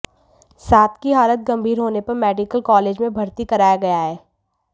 सात की हालत गंभीर होने पर मेडिकल कालेज में भर्ती कराया गया है